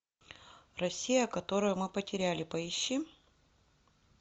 россия которую мы потеряли поищи